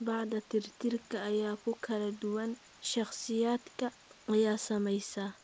Baaxadda tirtirka ayaa ku kala duwan shakhsiyaadka ay saamaysay.